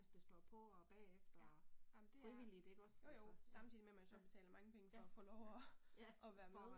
Ja, ej men det er jo jo samtidig med at man så betaler mange penge for at få lov og og være med